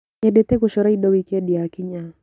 Nyendete gũcora indo wikendi yakinya.